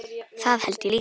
Það held ég líka